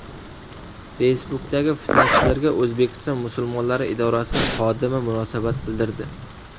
Facebook’dagi fitnachilarga O‘zbekiston musulmonlari idorasi xodimi munosabat bildirdi.